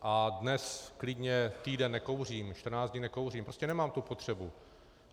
A dnes klidně týden nekouřím, 14 dní nekouřím, prostě nemám tu potřebu.